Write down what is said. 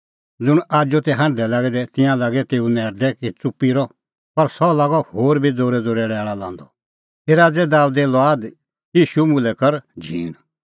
ज़ुंण आजू तै हांढदै लागै दै तिंयां लागै तेऊ नैरदै कि च़ुप्पी रह पर सह लागअ होर बी ज़ोरैज़ोरै लैल़ा लांदअ हे राज़ै दाबेदे लुआद ईशू मुल्है कर झींण